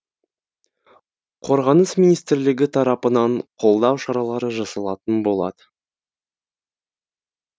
қорғаныс министрлігі тарапынан қолдау шаралары жасалатын болады